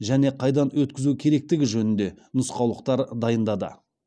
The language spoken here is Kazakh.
және қайда өткізу керектігі жөнінде нұсқаулықтар дайындады